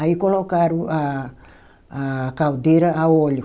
Aí colocaram a a caldeira a óleo.